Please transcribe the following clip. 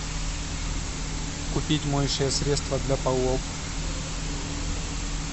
купить моющее средство для полов